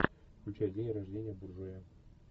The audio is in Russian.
включай день рождения буржуя